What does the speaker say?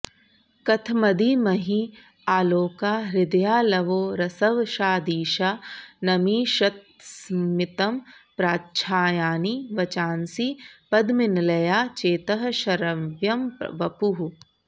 कथमधीमहि आलोका हृदयालवो रसवशादीशानमीषत्स्मितं प्रच्छायानि वचांसि पद्मनिलया चेतः शरव्यं वपुः